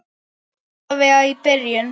Alla vega í byrjun.